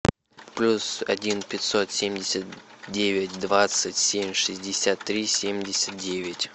плюс один пятьсот семьдесят девять двадцать семь шестьдесят три семьдесят девять